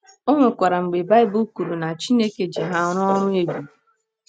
O nwekwara mgbe Baịbụl kwuru na Chineke ji ha rụọ ọrụ ebube.